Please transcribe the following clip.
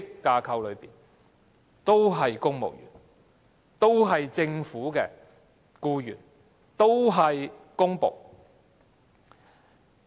大家都是公務員、都是政府的僱員、都是公僕。